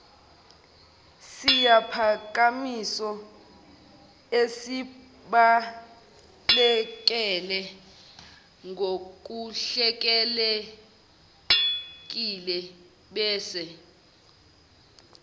siphakamiso esibhaleke ngokuhlelekilebese